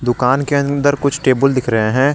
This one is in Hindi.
दुकान के अंदर कुछ टेबुल दिख रहे हैं।